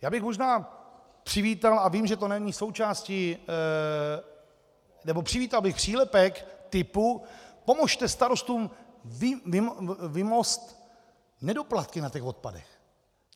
Já bych možná přivítal - a vím, že to není součástí - nebo přivítal bych přílepek typu: pomozte starostům vymoct nedoplatky na těch odpadech.